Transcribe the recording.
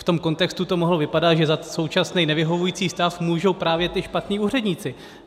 V tom kontextu to mohlo vypadat, že za současný nevyhovující stav můžou právě ti špatní úředníci.